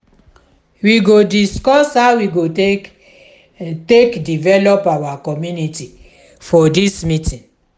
we go discuss how we go take take develop our community for dis meeting.